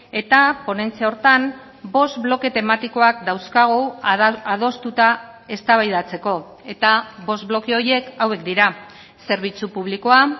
eta ponentzia horretan bost bloke tematikoak dauzkagu adostuta eztabaidatzeko eta bost bloke horiek hauek dira zerbitzu publikoa